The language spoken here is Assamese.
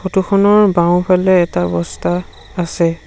ফটো খনৰ বাওঁফালে এটা বস্তা আছে।